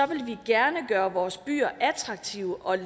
vil vi gerne gøre vores byer attraktive og